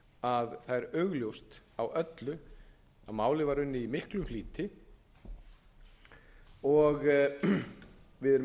að það er augljóst á öllu að málið var unnið í miklum flýti og við erum